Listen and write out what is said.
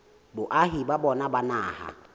boahi ba bona ba naha